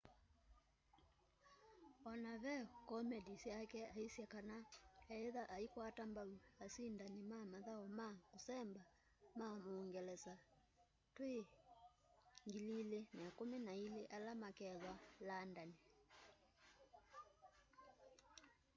ona ve komendi syake aisye kana iethwa aikwata mbau asindani na mathau ma kusemba ma muungelesa twi 2012 ala makethwa landani